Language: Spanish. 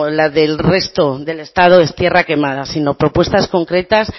la del resto del estado es tierra quemada sino propuestas concretas